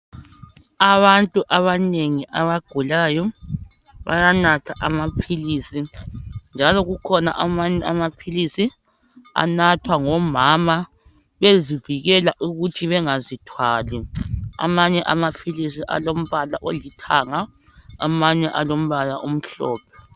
Abantu abanengi abagulayo bayanatha amaphilisi . Njalo kukhona amanye amaphilisi anathwa ngomama bezivikela ukuthi bengazithwali. Amanye amaphilisi alombala olithanga, amanye alombala omhlophe .